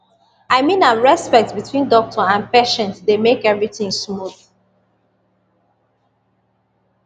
i mean am respect between doctor and patient dey make everything smooth